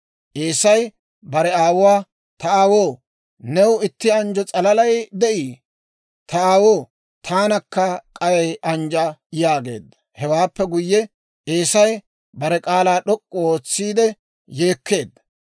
Eesay bare aawuwaa, «Ta aawoo, new itti anjjo s'alalay de'ii? Ta aawoo, taanakka k'ay anjja» yaageedda. Hewaappe guyye, Eesay bare k'aalaa d'ok'k'u ootsiide yeekkeedda.